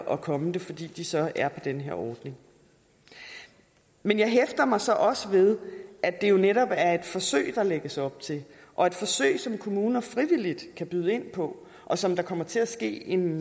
at komme det fordi de så er på den her ordning men jeg hæfter mig så også ved at det jo netop er et forsøg der lægges op til og et forsøg som kommuner frivilligt kan byde ind på og som der kommer til at ske en